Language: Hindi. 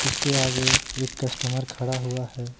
उसके आगे एक कस्टमर खड़ा हुआ है।